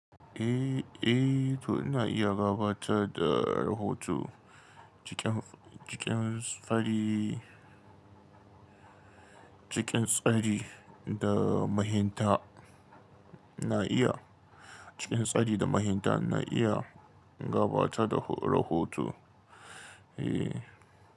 Eh, eh, to ina iya gabatar da rahoto. Cikin, cikin fari, cikin tsari da mahinta na iya. Cikin tsari da mahinta na iya gabata mr da rahoto. Eh.